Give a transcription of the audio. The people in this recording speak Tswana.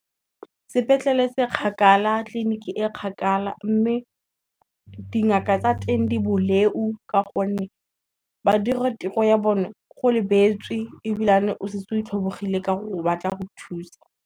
Sepetlele se kgakala, tleliniki e kgakala mme, dingaka tsa teng diboleu ka gonne, ba dira tiro ya bone go lebeletswe ebilane o setse o itlhobogile ka gore batla go thusa.